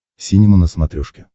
синема на смотрешке